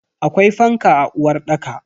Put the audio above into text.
Akwai fanka a uwarɗaka.